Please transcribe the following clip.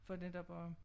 For netop at